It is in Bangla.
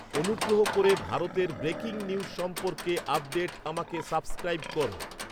অনুগ্রহ করে ভারতের ব্রেকিং নিউজ সম্পর্কে আপডেট আমাকে সাবস্ক্রাইব কর